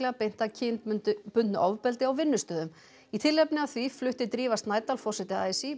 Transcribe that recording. beint að kynbundnu ofbeldi á vinnustöðum í tilefni af því flutti Drífa Snædal forseti a s í